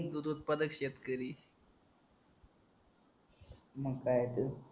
दूध उत्पादक शेतकरी मग काय आहे तर